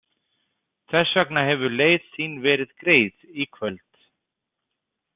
Þess vegna hefur leið þín verið greið í kvöld.